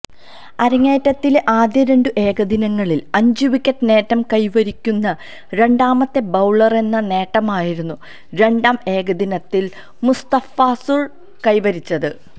അരങ്ങേറ്റത്തിലെ ആദ്യ രണ്ട് ഏകദിനങ്ങളില് അഞ്ചു വിക്കറ്റ് നേട്ടം കൈവരിക്കുന്ന രണ്ടാമത്തെ ബൌളറെന്ന നേട്ടമായിരുന്നു രണ്ടാം ഏകദിനത്തില് മുസ്തഫിസുര് കൈവരിച്ചത്